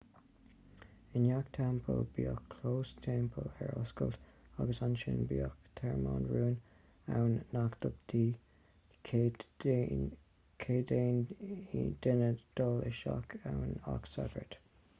i ngach teampall bhíodh clós teampaill ar oscailt agus ansin bhíodh tearmann rúin ann nach dtugtaí cead d'aon duine dul isteach ann ach sagairt